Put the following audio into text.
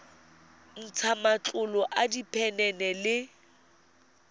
ntsha matlolo a diphenene le